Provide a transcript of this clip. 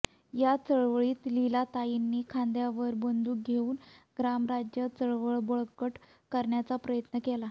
या चळवळीत लीलाताईंनी खांद्यावर बंदूक घेऊन ग्रामराज्य चळवळ बळकट करण्याचा प्रयत्न केला